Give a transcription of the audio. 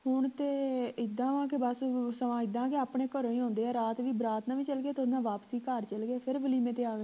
ਹੁਣ ਤੇ ਇੱਦਾਂ ਵਾ ਕੇ ਬਸ ਸਵਾ ਇੱਦਾਂ ਕੇ ਆਪਣੇ ਘਰੋਂ ਹੀ ਆਉਂਦੇ ਹੈ ਰਾਤ ਵੀ ਬਰਾਤ ਨਾਲ ਵੀ ਚੱਲ ਗਏ ਤੇ ਓਹਦੇ ਨਾਲ ਵਾਪਸੀ ਘਰ ਚੱਲ ਗਏ ਫੇਰ ਵਲੀਮੇਂ ਤੇ ਆ ਗਏ